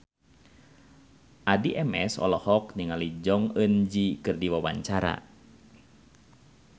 Addie MS olohok ningali Jong Eun Ji keur diwawancara